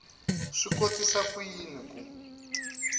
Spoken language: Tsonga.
swi kotisa ku yini ku